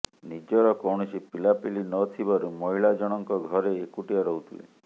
ନିଜର କୌଣସି ପିଲାପିଲି ନଥିବାରୁ ମହିଳାଜଣଙ୍କ ଘରେ ଏକୁଟିଆ ରହୁଥିଲେ